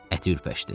Əti ürpəşdi.